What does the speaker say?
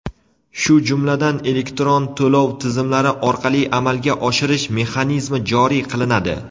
shu jumladan elektron to‘lov tizimlari orqali amalga oshirish mexanizmi joriy qilinadi.